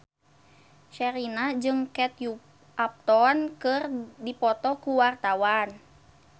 Sherina jeung Kate Upton keur dipoto ku wartawan